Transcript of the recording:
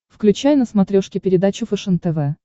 включай на смотрешке передачу фэшен тв